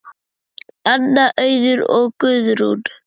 Anna, Auður og Guðrún.